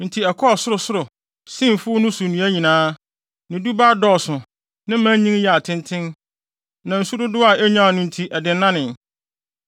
Enti ɛkɔɔ sorosoro sen mfuw no so nnua nyinaa; ne dubaa dɔɔso ne mman nyin yɛɛ atenten, na nsu dodow a enyaa no nti ɛdennanee.